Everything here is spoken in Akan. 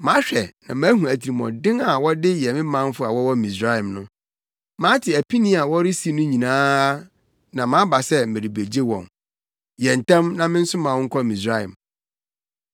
Mahwɛ na mahu atirimɔden a wɔde yɛ me manfo a wɔwɔ Misraim no. Mate apini a wɔresi no nyinaa na maba sɛ merebegye wɔn. Yɛ ntɛm na mensoma wo nkɔ Misraim.’